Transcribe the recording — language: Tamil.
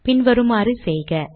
பின் வருமாறு செய்க